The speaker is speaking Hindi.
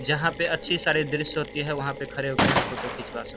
जहाँ पे अच्छी सारी दृश्य होती है वहाँ पे खड़े होकर हम फोटो खींचवा सक --